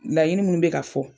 laɲini munnu bɛ ka fɔ.